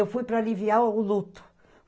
Eu fui para aliviar o luto.